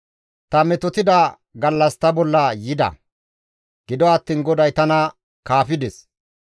Ta metotida gallas ta bolla yida; gido attiin GODAY tana kaafides.